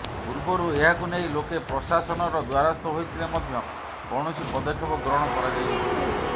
ପୂର୍ବରୁ ଏହାକୁ ନେଇ ଲୋକେ ପ୍ରଶାସନର ଦ୍ୱାରସ୍ଥ ହୋଇଥିଲେ ମଧ୍ୟ କୌଣସି ପଦକ୍ଷେପ ଗ୍ରହଣ କରାଯାଇ ନଥିଲା